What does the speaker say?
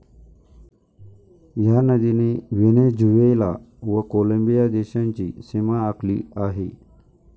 ह्या नदीने व्हेनेझुवेला व कोलंबिया देशांची सीमा आखली आहे.